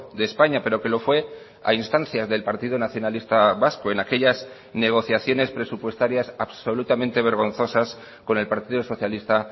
de españa pero que lo fue a instancias del partido nacionalista vasco en aquellas negociaciones presupuestarias absolutamente vergonzosas con el partido socialista